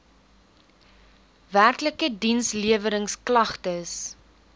werklike diensleweringsk lagtes